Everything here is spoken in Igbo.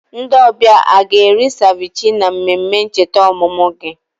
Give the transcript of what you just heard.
Ndị ọbịa a ga-eri seviche na mmemme ncheta ọmụmụ gị echi?